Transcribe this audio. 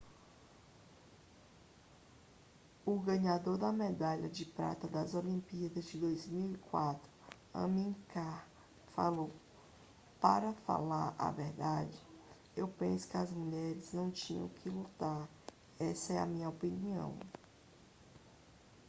o ganhador da medalha de prata das olimpíadas de 2004 amir khan falou para falar a verdade eu penso que as mulheres não tinham que lutar essa é a minha opinião